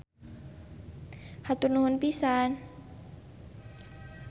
Hatur nuhun pisan.